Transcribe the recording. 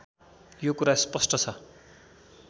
यो कुरा स्पष्ट छ